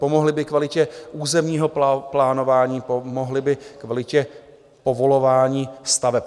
Pomohly by kvalitě územního plánování, pomohly by kvalitě povolování staveb.